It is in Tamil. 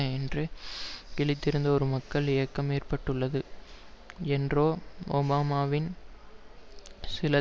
என்றோ கீழிருந்து ஒரு மக்கள் இயக்கம் ஏற்பட்டுள்ளது என்றோ ஒபாமாவின் சில